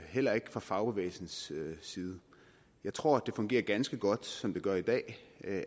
heller ikke fra fagbevægelsens side jeg tror det fungerer ganske godt som det gør i dag